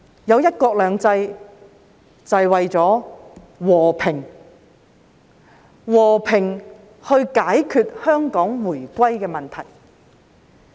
有"一國兩制"是為了和平，和平地解決香港回歸的問題。